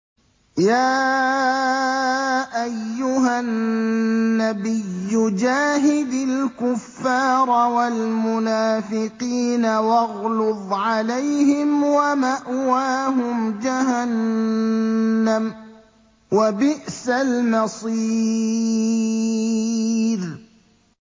يَا أَيُّهَا النَّبِيُّ جَاهِدِ الْكُفَّارَ وَالْمُنَافِقِينَ وَاغْلُظْ عَلَيْهِمْ ۚ وَمَأْوَاهُمْ جَهَنَّمُ ۖ وَبِئْسَ الْمَصِيرُ